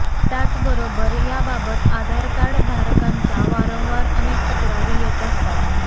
त्याचबरोबर याबाबत आधारकार्ड धारकांच्या वारंवार अनेक तक्रारी येत असतात